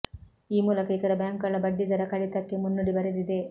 ಈ ಮೂಲಕ ಇತರ ಬ್ಯಾಂಕುಗಳ ಬಡ್ಡಿ ದರ ಕಡಿತಕ್ಕೆ ಮುನ್ನುಡಿ ಬರೆದಿದೆ